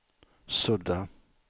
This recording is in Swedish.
sudda